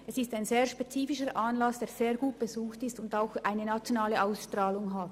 Es ist ein sehr spezifischer Anlass, der ausserordentlich gut besucht wird und eine nationale Ausstrahlung hat.